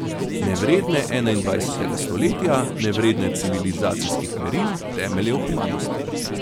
Nevredne enaindvajsetega stoletja, nevredne civilizacijskih meril, temeljev humanosti.